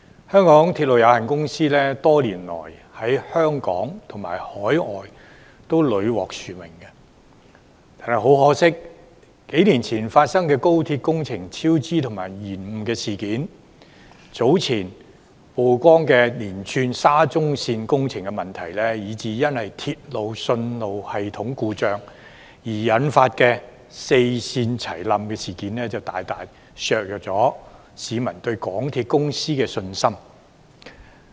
香港鐵路有限公司多年來在香港及海外屢獲殊榮，很可惜，數年前發生的廣深港高速鐵路香港段工程超支及延誤事件、早前曝光的連串沙田至中環線工程問題，以至因鐵路信號系統故障而引發四線服務同時中斷的事件，大大削弱了市民對港鐵公司的信心。